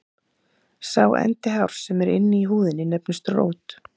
sá endi hárs sem er inni í húðinni nefnist rót